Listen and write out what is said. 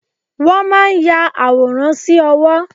Wọ́n máa ń ya àwòrán sí owó.